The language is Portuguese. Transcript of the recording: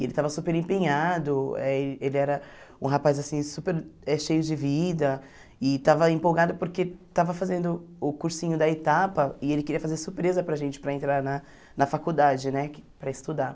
Ele estava super empenhado, eh ele era um rapaz assim super eh cheio de vida e estava empolgado porque estava fazendo o cursinho da Etapa e ele queria fazer surpresa para a gente para entrar na na faculdade né que para estudar.